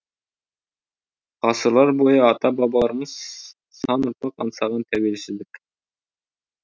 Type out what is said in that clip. ғасырлар бойы ата бабаларымыз сан ұрпақ аңсаған тәуелсіздік